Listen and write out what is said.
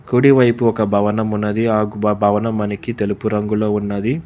కుడి వైపు ఒక భవనం ఉన్నది ఆ భవనం మనకి తెలుపు రంగులో ఉన్నది.